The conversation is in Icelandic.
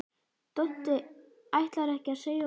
Doddi ætlar ekki að segja of mikið.